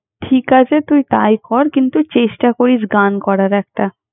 ঠিক আছে, তুই তাই কর। কিন্তু, চেষ্টা করিস গান করার একটা।